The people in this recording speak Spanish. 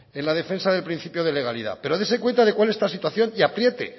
en la defensa del principio de legalidad pero dese cuenta de cuál es la situación y apriete